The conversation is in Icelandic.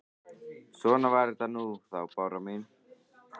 Svona var þetta nú þá, Bára mín.